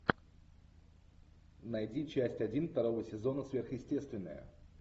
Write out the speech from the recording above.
найди часть один второго сезона сверхъестественное